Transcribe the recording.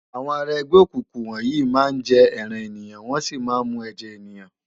Awòn àrá ègbè ókúkú wòn yi má n jè èrán éniyán wòn si má n mú èjè éniyán